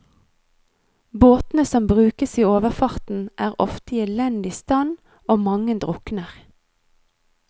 Båtene som brukes i overfarten er ofte i elendig stand, og mange drukner.